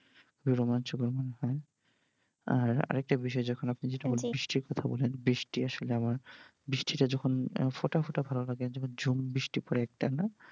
রোমাঞ্চকর মনে হয় আর একটা বিষয় যখন আপনি যেটা বৃষ্টির কথা বললেন বৃষ্টি আসলে আমার বৃষ্টিটা যখন ফোটাফোটা ভালো লাগে যখন জুম বৃষ্টি পরে একটা না?